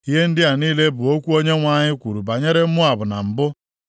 Ihe ndị a niile bụ okwu Onyenwe anyị kwuru banyere Moab na mbụ,